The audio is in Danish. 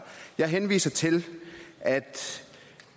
jeg henviser til at